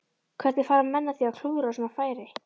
Hvernig fara menn að því að klúðra svona færi?